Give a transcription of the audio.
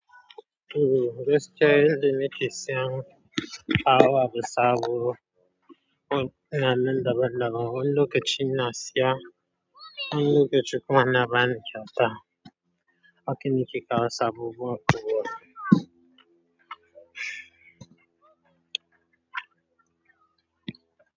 Umm, gaskiya yanda muke siyan awara sabo. Na nan daban-daban. Wani lokacin na siya, wani lokacin kuma ana bani kyauta. Wa ke niki kawo sabobu a Kubwa.